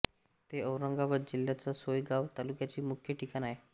ते औरंगाबाद जिल्ह्याच्या सोयगांव तालुक्याचे मुख्य ठिकाण आहे